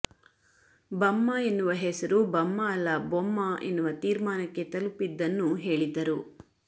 ಬಮ್ಮ ಎನ್ನುವ ಹೆಸರು ಬಮ್ಮ ಅಲ್ಲ ಬೊಮ್ಮ ಎನ್ನುವ ತೀರ್ಮಾನಕ್ಕೆ ತಲುಪಿದ್ದನ್ನೂ ಹೇಳಿದ್ದರು